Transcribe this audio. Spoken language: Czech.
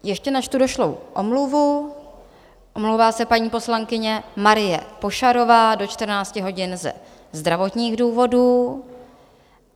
Ještě načtu došlou omluvu: omlouvá se paní poslankyně Marie Pošarová do 14 hodin ze zdravotních důvodů.